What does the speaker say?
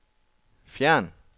fjern